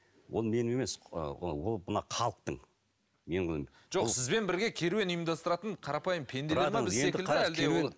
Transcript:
ол менің емес ы ол мына халықтың жоқ сізбен бірге керуен ұйымдастыратын қарапайым пенделер ме біз секілді әлде ол